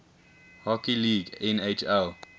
hockey league nhl